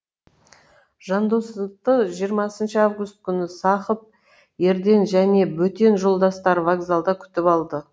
жандосты жиырмасыншы август күні сақып ерден және бөтен жолдастары вокзалда күтіп алды